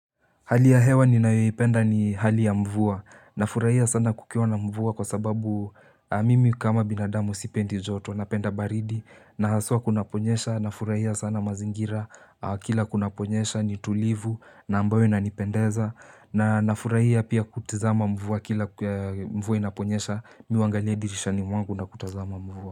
Hali ya hewa ninayoipenda ni hali ya mvua na furahia sana kukiwa na mvua kwa sababu mimi kama binadamu sipendi joto napenda baridi na haswa kuna kunyesha na furahia sana mazingira kila kunaponyesha ni tulivu na ambayo inanipendeza na na furahia pia kutazama mvua kila mvua inaponyesha mimi huangalia dirishani mwangu na kutazama mvua.